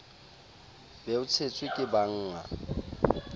be o tshetswe ke bannga